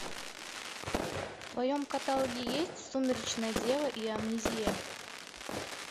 в твоем каталоге есть сумеречная дева и амнезия